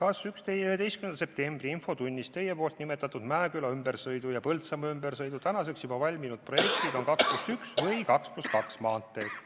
"Kas 11. septembri infotunnis Teie poolt nimetatud Mäeküla ümbersõidu ja Põltsamaa ümbersõidu tänaseks juba valminud projektid on 2 + 1 või 2 + 2 maanteed?